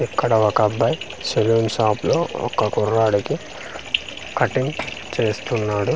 ఇక్కడ ఒక అబ్బాయి సెలూన్ షాప్ లో ఒక కుర్రాడికి కటింగ్ చేస్తున్నాడు.